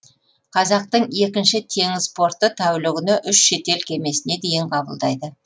қазақтың екінші теңіз порты тәулігіне үш шетел кемесіне дейін қабылдайды